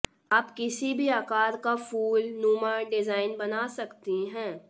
आप किसी भी आकार का फूल नुमा डिजाइन बना सकती हैं